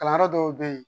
Kalanyɔrɔ dɔw bɛ yen